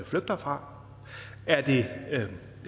flygter fra er det